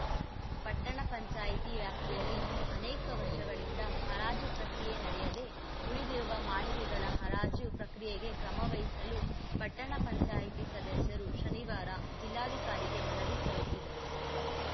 ಪಟ್ಟಣ ಪಂಚಾಯತಿ ವ್ಯಾಪ್ತಿಯಲ್ಲಿ ಅನೇಕ ವರ್ಷಗಳಿಂದ ಹರಾಜು ಪ್ರಕ್ರಿಯೆ ನಡೆಯದೆ ಉಳಿದಿರುವ ಮಳಿಗೆಗಳ ಹರಾಜು ಪ್ರಕ್ರಿಯೆಗೆ ಕ್ರಮವಹಿಸಲು ಪಟ್ಟಣ ಪಂಚಾಯತಿ ಸದಸ್ಯರು ಶನಿವಾರ ಜಿಲ್ಲಾಧಿಕಾರಿಗೆ ಮನವಿ ಸಲ್ಲಿಸಿದರು